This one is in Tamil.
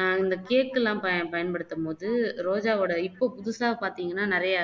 ஆஹ் இந்த cake எல்லாம் பய பயன்படுத்தும் போது ரோஜாவோட இப்போ புதுசா பாத்தீங்கன்னா நிறைய